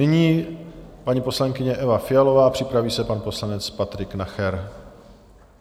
Nyní paní poslankyně Eva Fialová, připraví se pan poslanec Patrik Nacher.